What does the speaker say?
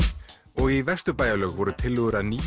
og í Vesturbæjarlaug voru tillögur að nýjum